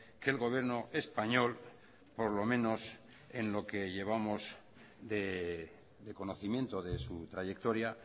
que el gobierno español por lo menos en lo que llevamos de conocimiento de su trayectoria